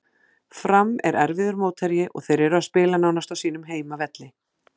Fram er erfiður mótherji og þeir eru að spila nánast á sínum heimavelli.